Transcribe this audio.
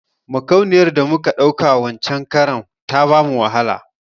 Makauniyar da muka ɗauka wancen karan ta bamu wahala